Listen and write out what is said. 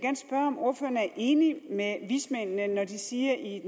om ordføreren er enig med vismændene når de siger i